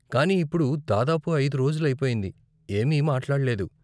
కానీ ఇప్పుడు దాదాపు అయిదు రోజులు అయిపోయింది, ఏమీ మాట్లాడ్లేదు.